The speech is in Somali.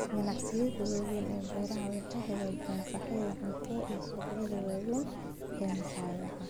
Ganacsiyada waaweyn ee beeraha waxay xaqiijiyaan sahayda cuntada ee suuqyada waaweyn iyo makhaayadaha.